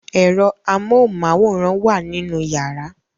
Ẹ̀rọ amóhunmáwòrán wà nínú yàrá